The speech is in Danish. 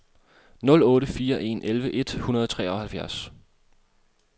nul otte fire en elleve et hundrede og treoghalvfjerds